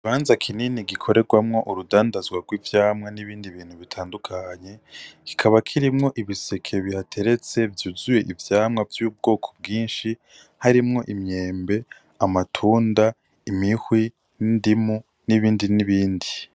Ikibanza kinini gikorerwamwo urudandazwa rw'ivyamwa n'ibindi bintu bitandukanye kikaba kirimwo ibiseke bihateretse vyuzuye ivyamwa vy'ubwoko bwinshi harimwo imyembe amatunda imihwi nindimu n'ibindi n'ibindi.